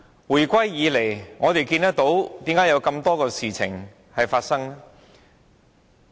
回歸以來，為何有這麼多事情發生？